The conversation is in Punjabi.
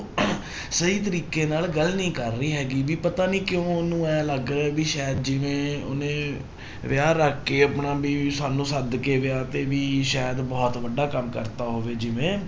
ਸਹੀ ਤਰੀਕੇ ਨਾਲ ਗੱਲ ਨੀ ਕਰ ਰਹੀ ਹੈਗੀ ਵੀ ਪਤਾ ਨੀ ਕਿਉਂ ਉਹਨੂੰ ਇਉਂ ਲੱਗ ਰਿਹਾ ਵੀ ਸ਼ਾਇਦ ਜਿਵੇਂ ਉਹਨੇ ਵਿਆਹ ਰੱਖ ਕੇ ਆਪਣਾ ਵੀ ਸਾਨੂੰ ਸੱਦ ਕੇ ਵਿਆਹ ਤੇ ਵੀ ਸ਼ਾਇਦ ਬਹੁਤ ਵੱਡਾ ਕੰਮ ਕਰ ਦਿੱਤਾ ਹੋਵੇ ਜਿਵੇਂ